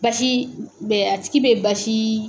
Basi bɛ a tigi bɛ basi.